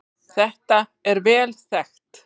Þetta er vel þekkt